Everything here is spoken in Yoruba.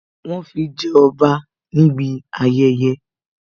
Wọn ó fi jẹ ọba níbi ayẹyẹ